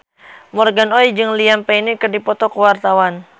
Morgan Oey jeung Liam Payne keur dipoto ku wartawan